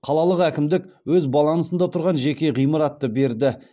қалалық әкімдік өз балансында тұрған жеке ғимаратты берді